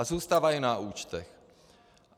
A zůstávají na účtech.